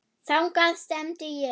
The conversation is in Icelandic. Þangað stefndi ég.